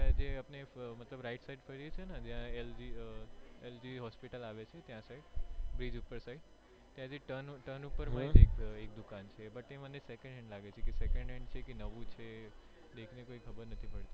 મતલબ right side જ્યાં lg lg hospital આવે છે ત્યાં side bridge ઉપ્પર side ત્યાં થી turn ઉપ્પર એક દુકાન છે તે મને second hand લાગે છે second hand કે નવું છે દેખને કઈ ખબર નથી પડતી.